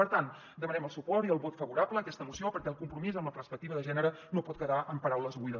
per tant demanem el suport i el vot favorable a aquesta moció perquè el com·promís amb la perspectiva de gènere no pot quedar en paraules buides